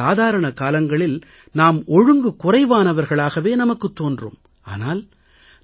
சாதாரண காலங்களில் நாம் ஒழுங்கு குறைவானவர்களாகவே நமக்குத் தோன்றும் ஆனால்